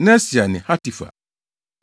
Nesia ne Hatifa.